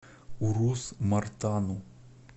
урус мартану